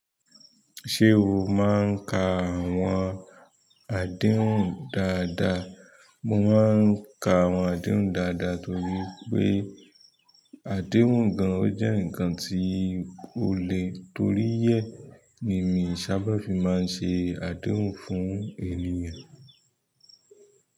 Ṣé o máa ń ka àwọn àdéhùn dáadáa? Mo máa ń ka àwọn àdéhùn dáadáa torí pé àdéhùn gan ó jẹ́ ǹǹkan tí ó le, torí ẹ̀ ni miì sábà fi máa ń ṣe àdéhùn fún ènìyàn.